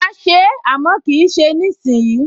Mà á se é, àmọ́ kì í ṣe ìsìnyí